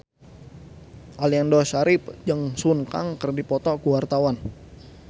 Aliando Syarif jeung Sun Kang keur dipoto ku wartawan